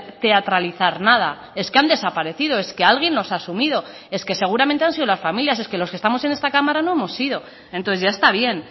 teatralizar nada es que han desaparecido es que alguien los ha asumido es que seguramente han sido las familias es que los que estamos en esta cámara no hemos sido entonces ya está bien